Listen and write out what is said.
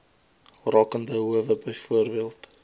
rakende howe byvoorbeeld